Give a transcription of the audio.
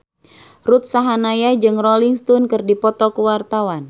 Ruth Sahanaya jeung Rolling Stone keur dipoto ku wartawan